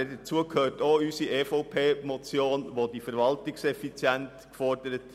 Dazu gehört auch die Motion der EVP, die Verwaltungseffizienz fordert.